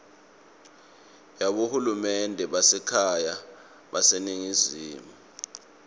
yabohulumende basekhaya baseningizimu